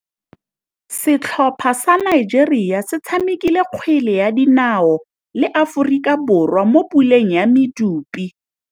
Setlhopha sa Nigeria se tshamekile kgwele ya dinaô le Aforika Borwa mo puleng ya medupe.